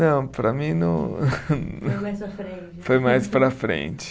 Não, para mim não. Foi mais para a frente. Foi mais para a frente.